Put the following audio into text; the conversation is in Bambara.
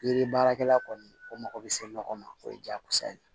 Yiri baarakɛla kɔni o mago bɛ se ɲɔgɔn ma o ye jaagosa ye